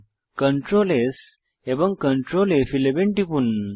Ctrl S এবং Ctrl ফ11 টিপুন